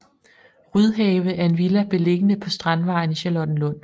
Rydhave er en villa beliggende på Strandvejen i Charlottenlund